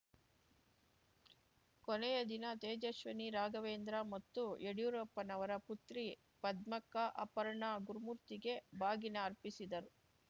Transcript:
ಕೊನೆಯದಿನ ತೇಜಸ್ವಿನಿ ರಾಘವೇಂದ್ರ ಮತ್ತು ಯಡ್ಯೂರಪ್ಪನವರ ಪುತ್ರಿ ಪದ್ಮಕ್ಕ ಅಪರ್ಣ ಗುರುಮೂರ್ತಿಗೆ ಬಾಗಿನ ಅರ್ಪಿಸಿದರು